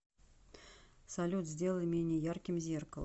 салют сделай менее ярким зеркало